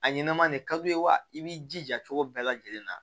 A ɲɛnɛma ne ka d'u ye wa i b'i jija cogo bɛɛ lajɛlen na